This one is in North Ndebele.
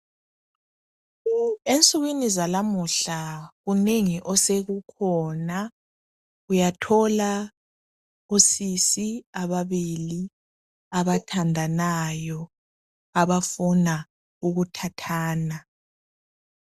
Ensukwini zalamuhla kunengi osekukhona uyathola osisi ababili abathandanayo abafuna ukuthathana.